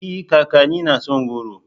E! kakanni na son goro.